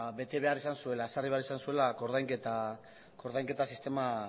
bete behar izan zuela ezarri behar izan zuela koordainketa sistema